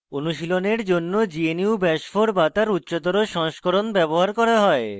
অনুশীলনের জন্য gnu bash 4 bash তার উচ্চতর সংস্করণ ব্যবহার করা হয়